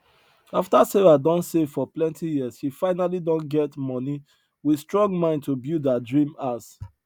afta sarah don save for plenti years she finally don get money with strong mind to build her dream house